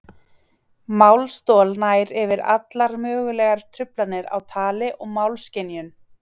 Málstol nær yfir allar mögulegar truflanir á tali og málskynjun.